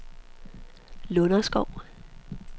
Lunderskov